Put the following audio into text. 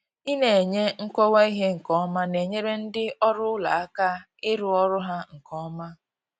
ina enye nkọwa ihe nke ọma na-enyere ndị ọrụ ụlọ aka ịrụ ọrụ ha nke ọma.